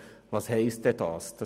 Was heisst Ziffer 2 nun konkret?